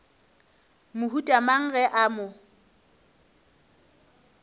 mohuta mang ge a mo